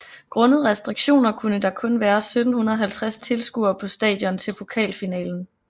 Grundet restriktioner kunne der kun være 1750 tilskuere på stadion til pokalfinalen